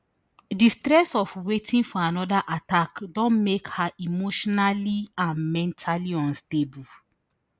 di stress of waiting for anoda attack don make her emotionally and mentally unstable